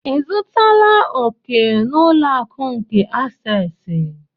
Ị zụtala òkè na ụlọ akụ nke asesị?